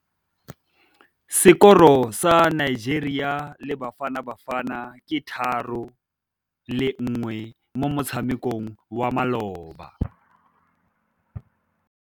Sekôrô sa Nigeria le Bafanabafana ke 3-1 mo motshamekong wa malôba.